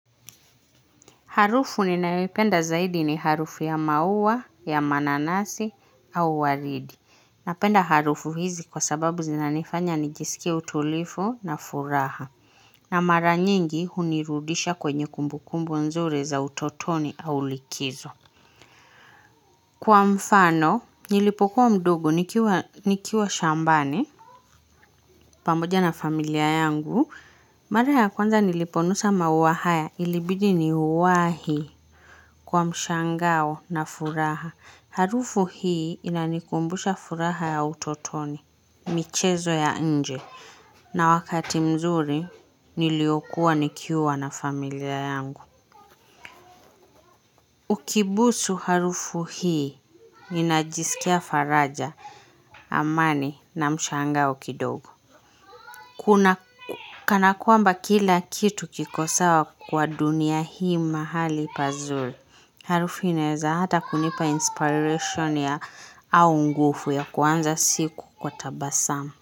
Harufu ninayoipenda zaidi ni harufu ya maua, ya mananasi, au waridi. Napenda harufu hizi kwa sababu zinanifanya ni jisikie utulivu na furaha. Na mara nyingi hunirudisha kwenye kumbukumbu nzuri za utotoni au likizo. Kwa mfano, nilipokuwa mdogo nikiwa shambani pamoja na familia yangu. Mara ya kwanza niliponusa maua haya ilibidi niuwahi kwa mshangao na furaha. Harufu hii inanikumbusha furaha ya utotoni, michezo ya nje. Na wakati mzuri niliokuwa nikiwa na familia yangu. Ukibusu harufu hii ninajisikia faraja amani na mshangao kidogo. Kuna kana kwamba kila kitu kiko sawa kwa dunia hii mahali pazuri. Harufu inaeza hata kunipa inspiration ya au nguvu ya kuanza siku kwa tabasamu.